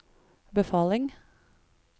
befaling